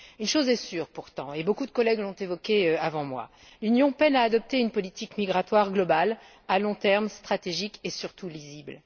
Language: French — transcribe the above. Une chose est sûre pourtant, et beaucoup de collègues l'ont évoquée avant moi l'Union peine à adopter une politique migratoire globale à long terme, stratégique et, surtout, lisible.